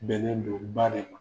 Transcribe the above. Bɛnnen do baara in